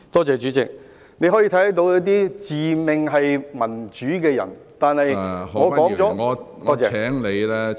主席，你可以看見那些自命民主的人，但我說了......